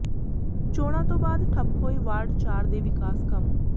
ਚੋਣਾਂ ਤੋਂ ਬਾਅਦ ਠੱਪ ਹੋਏ ਵਾਰਡ ਚਾਰ ਦੇ ਵਿਕਾਸ ਕੰਮ